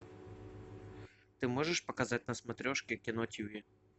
ты можешь показать на смотрешке кино тиви